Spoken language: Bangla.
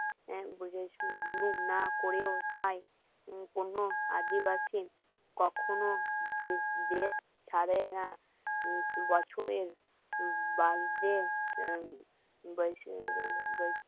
না করেও তাই কোনো আদিবাসী কখনো দেশ ছাড়ে না বছরের